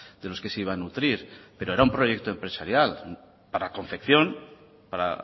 de los que se iba a nutrir pero era un proyecto empresarial para confección para